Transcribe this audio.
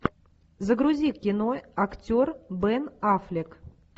загрузи кино актер бен аффлек